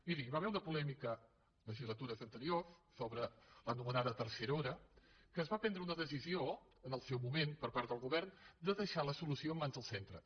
miri hi va haver una polèmica en legislatures anteriors sobre l’anomenada tercera hora que es va prendre una decisió en el seu moment per part del govern de deixar la solució en mans dels centres